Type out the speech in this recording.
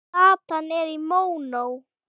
Platan er í mónó.